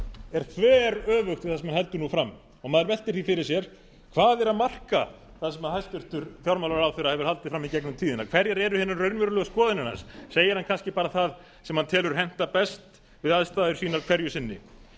er þveröfugt við það sem hann heldur nú fram og maður veltir því fyrir sér hvað er að marka það sem hæstvirtur fjármálaráðherra hefur haldið fram í gegnum tíðina hverjar eru hinar raunverulegu skoðanir hans segir hann kannski bara það sem hann telur henta best við aðstæður sínar hverju sinni